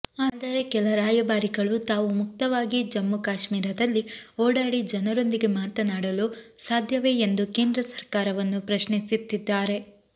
ಆದರೆ ಕೆಲ ರಾಯಭಾರಿಗಳು ತಾವು ಮುಕ್ತವಾಗಿ ಜಮ್ಮು ಕಾಶ್ಮೀರದಲ್ಲಿ ಓಡಾಡಿ ಜನರೊಂದಿಗೆ ಮಾತನಾಡಲು ಸಾಧ್ಯವೇ ಎಂದು ಕೇಂದ್ರ ಸರ್ಕಾರವನ್ನು ಪ್ರಶ್ನಿಸ್ತಿದ್ದಾರೆ